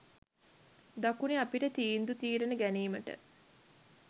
දකුණේ අපිට තීන්දු තීරණ ගැනීමට